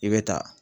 I bɛ ta